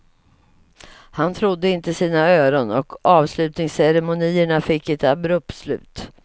Han trodde inte sina öron och avlusningsceremonierna fick ett abrupt slut.